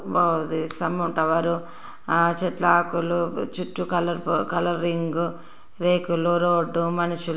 బాగుంది ఆ స్థంభం టవర్. ఆ చెట్ల ఆకులు చుట్టూ కలర్ఫుల్ కలరింగ్ రేకులు రోడ్డు మనుషు--